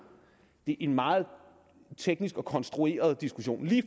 det er en meget teknisk og konstrueret diskussion lige